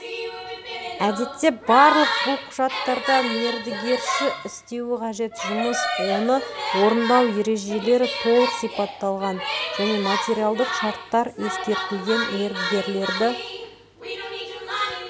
әдетте барлық бұл құжаттарда мердігерші істеуі қажет жұмыс оны орындау ережелері толық сипатталған және материалдық шарттар ескертілген мердігерді